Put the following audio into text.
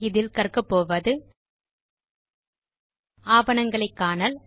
இதில் கற்கபோவது ஆவணங்களை காணல்